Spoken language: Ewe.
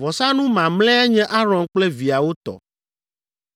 Vɔsanu mamlɛa nye Aron kple viawo tɔ,